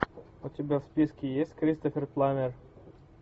у тебя в списке есть кристофер пламмер